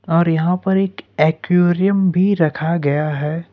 और यहां पर एक अक्वेरियम भी रखा गया है।